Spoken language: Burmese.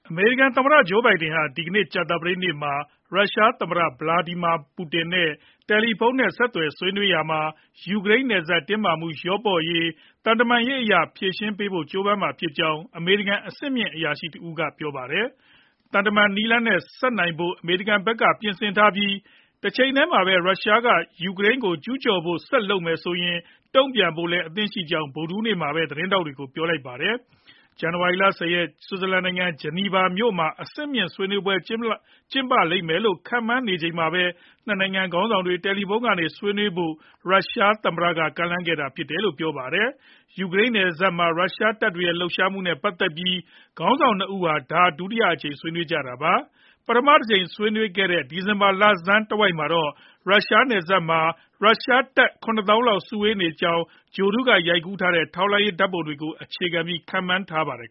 အမေရိကန် သမ္မတ Joe Biden ဟာ ဒီကနေ့ ကြာသပတေးနေ့မှာ ရုရှားသမ္မတ Vladimir Putin နဲ့ တယ်လီဖုန်းဆက် ဆွေးနွေးတဲ့အခါ ယူကရိန်းနယ်စပ် တင်းမာမှုကိစ္စ လျော့ပါးရေး သံတမန်ရေးအရ ဖြေရှင်းနိုင်ဖို့ ကြိုးပမ်းမယ့်အကြောင်း အမေရိကန် အဆင့်မြင့်အရာရှိ တယောက်က ပြောလိုက်ပါတယ်။ သံတမန်နည်းလမ်းနဲ့ ရှေ့ဆက်နိုင်ဖို့ အမေရိကန်ဖက်က ပြင်ဆင်ထားပြီး၊ တချိန်တည်းမှာပဲ ရုရှားက ယူကရိန်းကို ကျုးကျော်ဖို့ ဆက်လုပ်မယ်ဆိုရင် တုံ့ပြန်ဖို့လည်း အသင့်ရှိကြောင်း ဗုဒ္ဓဟူးနေ့မှာပဲ သတင်းထောက်တွေကို ပြောလိုက်တာပါ။ ဇန်နဝါရီလ ၁၀ ရက်နေ့ ဆွစ်ဇာလန်နိုင်ငံ ဂျနီဗာမြို့မှာ အဆင့်မြင့် ဆွေးနွေးပွဲ ကျင်းပလိမ့်မယ်လို့ ခန့်မှန်းနေချိန်မှာပဲ ၂ နိုင်ငံ ခေါင်းဆောင်တွေ တယ်လီဖုန်းကနေ ဆွေးနွေးဖို့ ရုရှားသမ္မတက ကမ်းလှမ်းခဲ့တာ ဖြစ်တယ်လို့လည်း ပြောပါတယ်။ ယူကရိန်းနယ်စပ်မှာ ရုရှားတပ်တွေရဲ့ လှုပ်ရှားမှုတွေနဲ့ ပတ်သက်ပြီး ခေါင်းဆောင် ၂ ဦး ဒါဟာ ဒုတိယအကြိမ် ဆွေးနွေးကြမှာပါ။ ပထမတကြိမ် ဆွေးနွေးခဲ့တဲ့ ဒီဇင်ဘာလဆန်းတဝိုက်မှာတော့ ယူကရိန်းနယ်စပ်မှာ ရုရှားတပ် ၇ သောင်းလောက် စုဝေးရောက်ရှိနေကြောင်း ဂြိုဟ်တုက ရိုက်ကူးထားတဲ့ ထောက်လှမ်းရေး ဓာတ်ပုံတွေကို အခြေခံပြီး ခန့်မှန်းထားကြပါတယ်